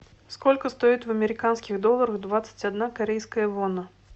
сколько стоит в американских долларах двадцать одна корейская вона